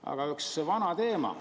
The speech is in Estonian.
Aga on üks vana teema.